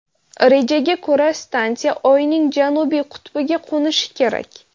Rejaga ko‘ra, stansiya Oyning janubiy qutbiga qo‘nishi kerak.